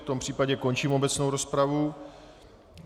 V tom případě končím obecnou rozpravu.